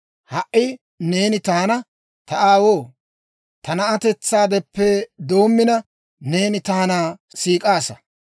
«Ha"i neeni taana, ‹Ta aawoo, ta na'atetsaadeppe doommina, neeni taana siik'aasa.